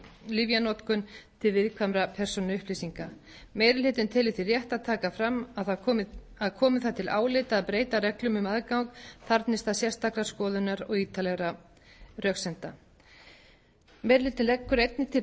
lyfjanotkun til viðkvæmra persónuupplýsinga meiri hlutinn telur því rétt að taka fram að komi það til álita að breyta reglum um aðgang þarfnist það sérstakrar skoðunar og ítarlegra röksemda meiri hlutinn leggur einnig til breytingar á